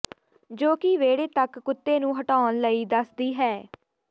ਜੋ ਕਿ ਵਿਹੜੇ ਤੱਕ ਕੁੱਤੇ ਨੂੰ ਹਟਾਉਣ ਲਈ ਦੱਸਦੀ ਹੈ